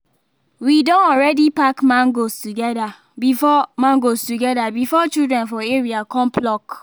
we don already pack mangoes together before mangoes together before children for area come pluck